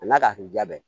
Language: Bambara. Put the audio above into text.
A n'a ka hinɛ bɛɛ